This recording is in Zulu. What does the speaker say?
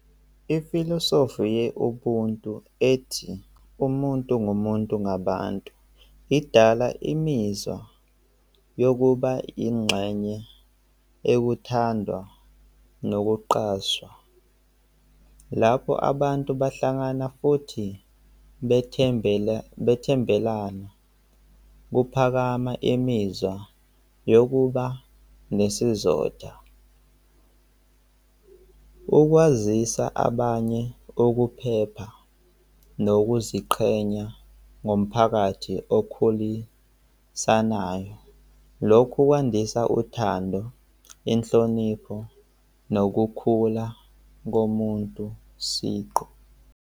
Ifilosofi ye-ubuntu ethi umuntu ngumuntu ngabantu, idala imizwa yokuba yingxenye ekuthandwa nokuqaswa lapho abantu bahlangana futhi bethembela, bethembelana, kuphakama imizwa yokuba nesizotha. Ukwazisa abanye ukuphepha nokuziqhenya ngomphakathi okhulisanayo. Lokhu kwandisa uthando, inhlonipho nokukhula komuntu siqu.